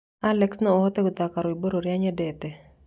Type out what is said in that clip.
Alexa no ũhote gũthaka rwĩmbo ruria nyendete?